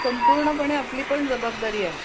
संपूर्णपणे आपली पण जबाबदारी आहे आहे